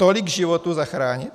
Tolik životů zachránit?